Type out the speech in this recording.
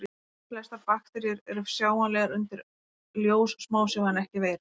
Flestar bakteríur eru sjáanlegar undir ljóssmásjá en ekki veirur.